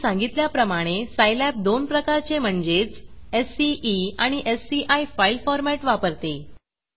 आधी सांगितल्याप्रमाणे सायलॅब दोन प्रकारचे म्हणजेच सीई आणि एससीआय फाईल फॉरमॅट वापरते